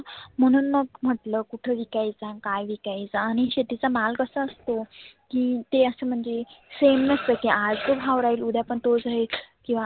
म्हणून मग म्हटल कुठ विकायचा काय विकायचा आणि शेतीचा माल कसा असतो. की ते असं म्हणजे same नसत की आज तो भाव राहील उद्या पण तोच राहील किंवा